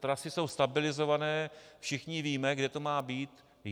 Trasy jsou stabilizované, všichni víme, kde to má být.